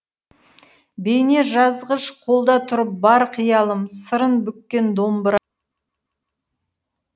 бейне жазғыш қолда тұрып ар қиялым сырын бүккен домбыра